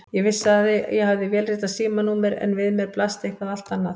Ég vissi að ég hafði vélritað símanúmer en við mér blasti eitthvað allt annað.